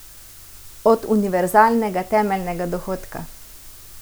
Od univerzalnega temeljnega dohodka?